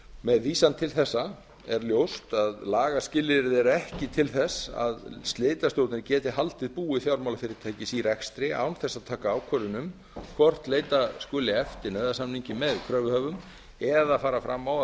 með vísan til þessa er ljóst að lagaskilyrði eru ekki til þess að slitastjórnir geti haldið búi fjármálafyrirtækis í rekstri án þess að taka ákvörðun um hvort leita skuli eftir nauðasamningi með kröfuhöfum eða fara fram á að